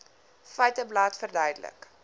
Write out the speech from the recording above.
feiteblad verduidelik